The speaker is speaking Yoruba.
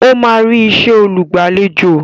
Ó máa rí isẹ́ olùgbàlejò